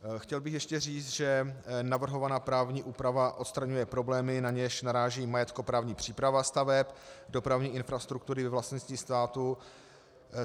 Chtěl bych ještě říct, že navrhovaná právní úprava odstraňuje problémy, na něž naráží majetkoprávní příprava staveb dopravní infrastruktury ve vlastnictví státu.